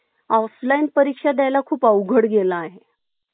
offline परीक्षा द्यायला खूप अवघड गेला आहे